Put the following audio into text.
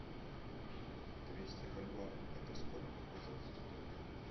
двести бальбоа это сколько в казахских тенге